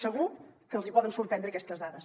segur que els hi poden sorprendre aquestes dades